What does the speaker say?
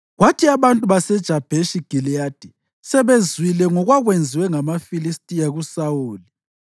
Kwathi abantu baseJabheshi Giliyadi sebezwile ngokwakwenziwe ngamaFilistiya kuSawuli,